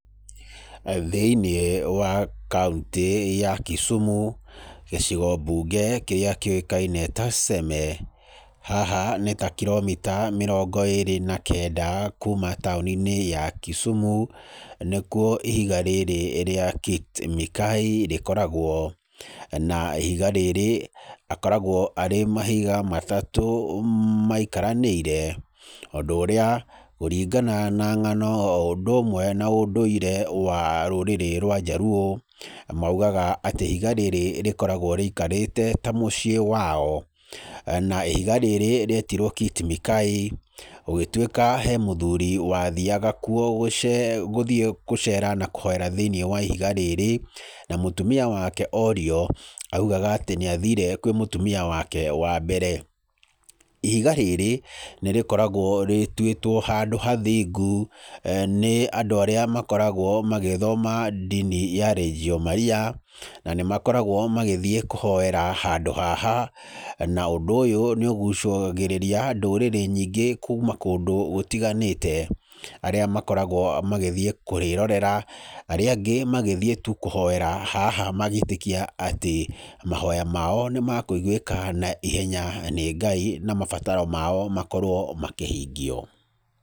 Thĩ-inĩ wa kaũntĩ ya Kisumu gĩcigo mbunge kĩrĩa kĩũĩkaine ta Seme, haha nĩ ta kiromita mĩrongo ĩrĩ na kenda kuma taũni-inĩ ya Kisumu, nĩkuo ihiga rĩrĩ rĩa Kit Mikayi rĩkoragwo. Na ihiga rĩrĩ akoragwo arĩ mahiga matatũ maikaranĩire, ũndũ ũrĩa kũringana na ng'ano o ũndũ ũmwe na ũndũire wa rũrĩrĩ rwa Njaruo maugaga atĩ ihiga rĩrĩ rĩkoragwo rĩikarĩte ta muciĩ wao. Na ihiga rĩrĩ rĩetirwo Kit Mikayi gũgĩtwĩka he mũthuri wathiaga kuo gũthiĩ gũcera na kũhoera thĩ-inĩ wa ihiga rĩrĩ, na mũtumia wake orio oigaga atĩ nĩ athire kwĩ mũtumia wake wa mbere. Ihiga rĩrĩ nĩ rĩkoragwo rĩtwĩtwo handũ hathingu nĩ andũ arĩa makoragwo magĩthoma ndini ya Legio Maria, na nĩ makoragwo magĩthiĩ kũhoera handũ haha na ũndũ ũyũ nĩ ũgucagĩrĩria ndũrĩrĩ nyingĩ kuma kũndũ gũtiganĩte, arĩa makoragwo magĩthiĩ kũrĩrorera, arĩa angĩ magĩthiĩ tu kũhoera haha magĩtĩkia atĩ mahoya mao nĩ makũigwĩka na ihenya nĩ Ngai na mabataro mao makorwo makĩhingio.